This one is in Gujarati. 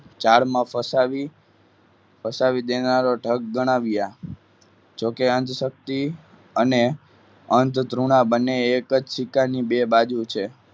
જાળમાં ફસાવી ફસાવી દીનારો ઠગ ગણાવ્યા જોકે અંધશક્તિ અને અંધ ધ્રુવના બંને એક જ સિક્કાની બે બાજુ છે.